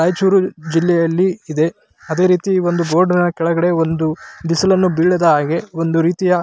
ರೈಚೂರು ಜಿಲ್ಲೆಯಲ್ಲಿ ಇದೆ ಅದೇ ರೀತಿ ಒಂದು ಬೋರ್ಡ್ ನ ಕೆಳಗಡೆ ಒಂದು ಬಿಸಿಲನ್ನುಬೀಳದ ಹಾಗೆ ಒಂದು ರೀತಿಯ --